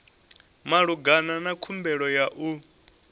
malugana na khumbelo ya u